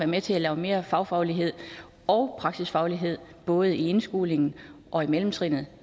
med til at lave mere fagfaglighed og praksisfaglighed både i indskolingen og i mellemtrinet